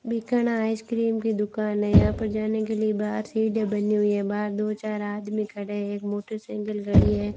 Bikana ice cream की दुकान है यहां पर जाने के लिए बाहर सीढ़ियां बनी हुई है बाहर दो चार आदमी खड़े एक मोटरसाइकिल खड़ी है।